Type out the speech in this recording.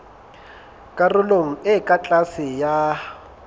karolong e ka tlase ya